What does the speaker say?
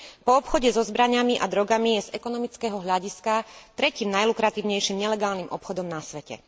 Po obchode so zbraňami a drogami je z ekonomického hľadiska tretím najlukratívnejším nelegálnym obchodom na svete.